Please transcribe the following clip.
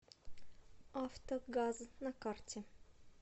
авто газ на карте